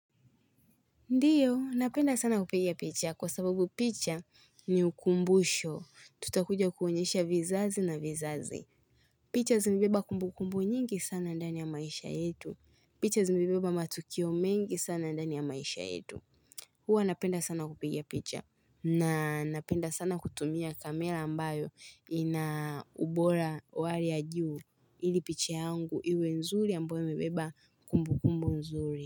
Ndiyo, napenda sana kupigia picha kwa sababu picha ni ukumbusho. Tutakuja kuonyesha vizazi na vizazi. Picha zimebeba kumbu kumbu nyingi sana ndani ya maisha yetu. Picha zimebeba matukio mengi sana ndani ya maisha yetu. Huwa napenda sana kupigia picha. Na napenda sana kutumia kamera ambayo ina ubora wa hali ya juu ili picha yangu iwe nzuri ambayo imebeba kumbu kumbu nzuri.